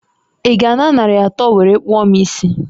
I ga a na nari atọ nwere kpụọ m isi?